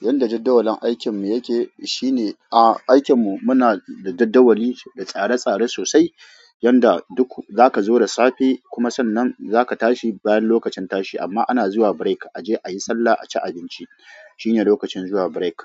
Yanda jadawalin aikin mu ya ke shine, a aikin mu muna da jadawali da tsare-tsare sosai yanda duk za ka zo da safe kuma sannan za ka tashi bayan lokacin tashi amma ana zuwa break a je ayi sallah a ci abinci. Shine lokacin zuwa break.